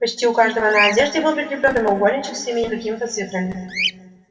почти у каждого на одежде был прикреплён прямоугольничек с именем и какими-то цифрами